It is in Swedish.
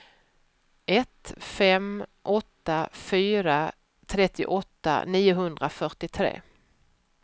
ett fem åtta fyra trettioåtta niohundrafyrtiotre